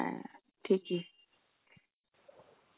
হ্যাঁ ঠিকই